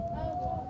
Ayva.